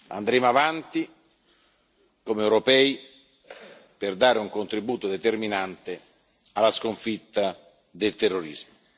Andremo avanti, come europei, per dare un contributo determinante alla sconfitta del terrorismo.